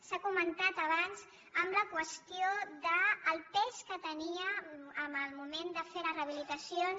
s’ha comentat abans amb la qüestió del pes que tenia en el moment de fer les rehabilitacions